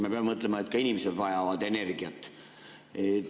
Me peame mõtlema, et ka inimesed vajavad energiat.